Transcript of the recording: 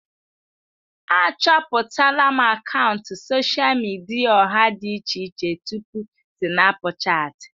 Achọpụtala m akaụntụ sosha midia ọha dị iche iche tupu Sinapụchati.